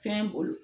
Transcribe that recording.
Fɛn bolo